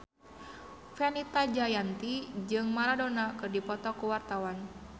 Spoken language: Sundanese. Fenita Jayanti jeung Maradona keur dipoto ku wartawan